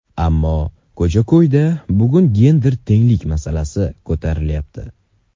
Ammo ko‘cha-ko‘yda bugun gender tenglik masalasi ko‘tarilyapti.